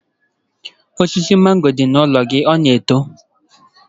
Osisi mango dị n'ụlọ gị ọ na-eto?